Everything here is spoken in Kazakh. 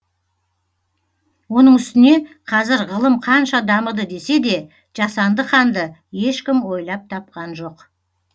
оның үстіне қазір ғылым қанша дамыды десе де жасанды қанды ешкім ойлап тапқан жоқ